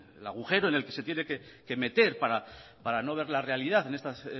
el agujero en el que se tiene que meter para no ver la realidad en estas